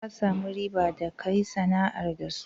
Ka samu riba da ka yi sana'ar da su?